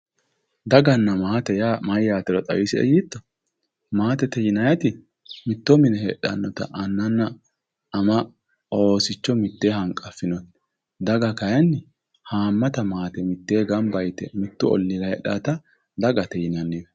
daganna maate yaa mayyatero xawisie yiitto maatete yinanniti mitto mine heedhannota annanna ama oosicho mitteenni hanqaffinote daga kayiinni haammata maate mitee gamba yite mittu olliira heedhannota dagate yini adhinanni.